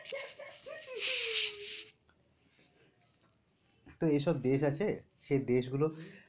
তো এই সব দেশ আছে সেই দেশ গুলো